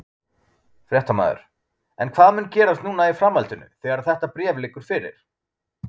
Fréttamaður: En hvað mun gerast núna í framhaldinu að þetta bréf liggur fyrir?